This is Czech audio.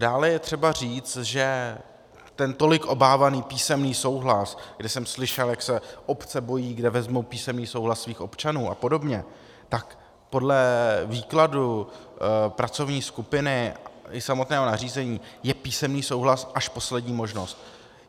Dále je třeba říct, že ten tolik obávaný písemný souhlas, kde jsem slyšel, jak se obce bojí, kde vezmou písemný souhlas svých občanů apod., tak podle výkladu pracovní skupiny i samotného nařízení je písemný souhlas až poslední možnost.